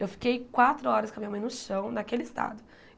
Eu fiquei quatro horas com a minha mãe no chão, naquele estado.